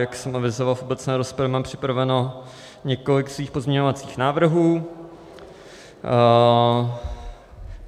Jak jsem avizoval v obecné rozpravě, mám připraveno několik svých pozměňovacích návrhů.